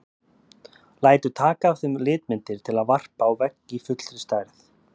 Lætur taka af þeim litmyndir til að varpa á vegg í fullri stærð.